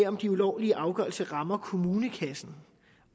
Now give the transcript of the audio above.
om de ulovlige afgørelser rammer kommunekassen